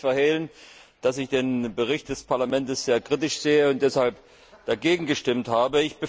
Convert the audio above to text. Ich möchte nicht verhehlen, dass ich den Bericht des Parlaments sehr kritisch sehe und deshalb dagegen gestimmt habe.